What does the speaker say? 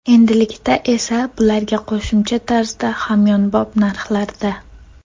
Endilikda esa bularga qo‘shimcha tarzda hamyonbop narxlarda!